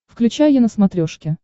включай е на смотрешке